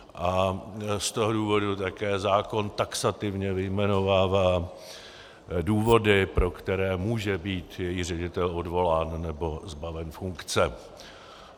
A z toho důvodu také zákon taxativně vyjmenovává důvody, pro které může být její ředitel odvolán nebo zbaven funkce.